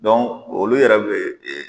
olu yɛrɛ bɛ yen.